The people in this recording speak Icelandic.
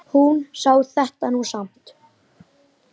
Hún sá þetta nú samt.